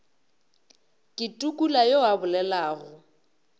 ke tukula yo a bolelago